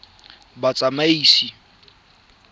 batsamaisi